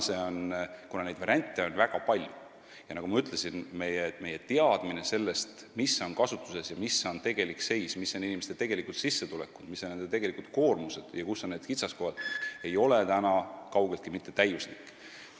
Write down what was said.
Kuna variante on väga palju, siis meie teadmine sellest, mis on kasutuses, mis on tegelik seis, mis on inimeste tegelikud sissetulekud ja koormused ning kus on kitsaskohad, ei ole kaugeltki mitte täiuslik.